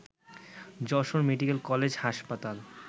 Jessore medical college হাসপাতাল